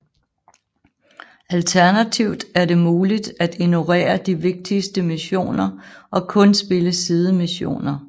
Alternativt er det muligt at ignorere de vigtigste missioner og kun spille sidemissioner